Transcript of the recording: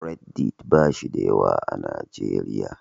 Reddit ba shi da yawa a Najeriya.